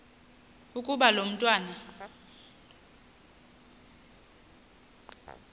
ukuba lo mntwana